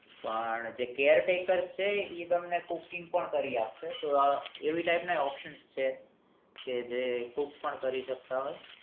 પણ જે caretaker છે ઇ તમને cooking પણ કરી આપશે તો એવી type નાં option છે કે જે cook પણ કરી શકતા હોય